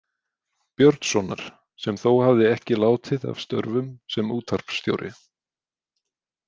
Björnssonar, sem þó hafði ekki látið af störfum sem útvarpsstjóri.